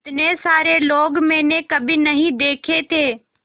इतने सारे लोग मैंने कभी नहीं देखे थे